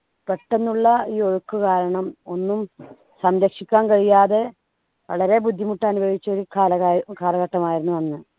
പെട്ടന്നുള്ള ഈ ഒഴുക്ക് കാരണം ഒന്നും സംരക്ഷിക്കാൻ കഴിയാതെ വളരെ ബുദ്ധിമുട്ട് അനുഭവിച്ച ഒരു കാലാകാ കാലഘട്ടമായിരുന്നു അന്ന്